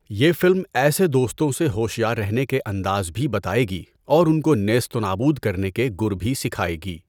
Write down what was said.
یہ فلم ایسے دوستوں سے ہوشیار رہنے کے انداز بھی بتائے گی اور ان کو نیست و نابود کرنے کے گُر بھی سکھائے گی۔